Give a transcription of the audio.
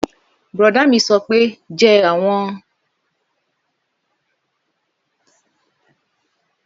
Bùrọ̀dá mi sọ pé jẹ àwọn ewé ewúro náà